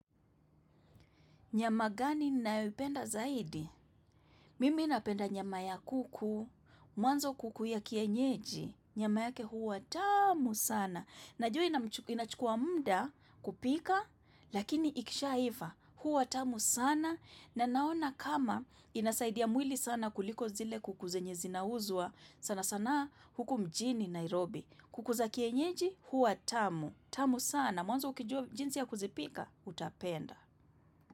Nyama gani nayopenda zaidi? Mimi napenda nyama ya kuku, mwanzo kuku ya kienyeji, nyama yake huwa tamu sana. Najua inachukua muda kupika, lakini ikishaiva, huwa tamu sana. Na naona kama inasaidia mwili sana kuliko zile kuku zenye zinauzwa, sana sana huku mjini Nairobi. Kuku za kienyeji, huwa tamu. Tamu sana, mwanzo ukijua jinsi ya kuzipika, utapenda.